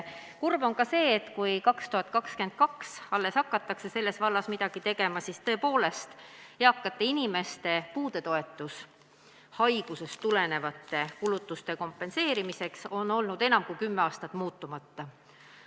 Kurb on ka see, et kui alles 2022. aastal hakatakse selles vallas midagi tegema, siis tõepoolest, eakate inimeste puudetoetus haigusest tulenevate kulutuste kompenseerimiseks on olnud enam kui kümme aastat muutumatu.